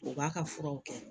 U b'a ka furaw kɛ